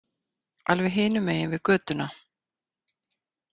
Alveg hinum megin við götuna.